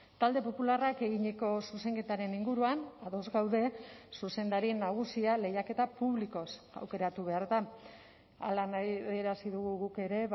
talde popularrak eginiko zuzenketaren inguruan ados gaude zuzendari nagusia lehiaketa publikoz aukeratu behar da hala adierazi dugu guk ere